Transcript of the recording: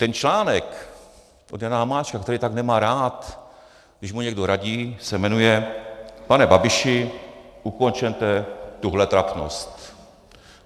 Ten článek od Jana Hamáčka, který tak nemá rád, když mu někdo radí, se jmenuje Pane Babiši, ukončete tuhle trapnost.